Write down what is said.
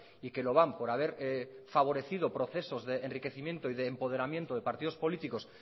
y que lo van por haber favorecido procesos de enriquecimiento y de empoderamiento de partidos políticos